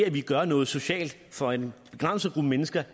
at vi gør noget socialt for en begrænset gruppe mennesker